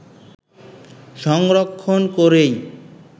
সংরক্ষণ করেই